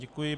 Děkuji.